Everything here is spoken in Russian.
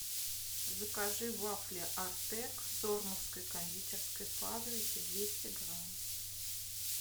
закажи вафли артек сормовской кондитерской фабрики двести грамм